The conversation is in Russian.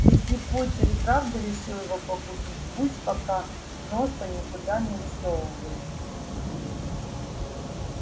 если поттер и правда решил его погубить пусть пока носа никуда не высовывает